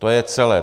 To je celé.